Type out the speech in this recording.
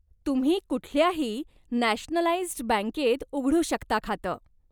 तुम्ही कुठल्याही नॅशनलाईज्ड बँकेत उघडू शकता खातं.